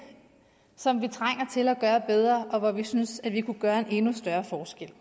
som vi trænger til at gøre bedre og hvor vi synes at vi kan gøre en endnu større forskel